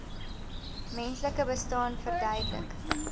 menslike bestaan verduidelik